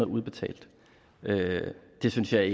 udbetalt det synes jeg